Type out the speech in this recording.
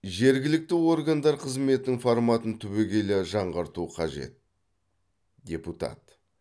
жергілікті органдар қызметінің форматын түбегейлі жаңғырту қажет депутат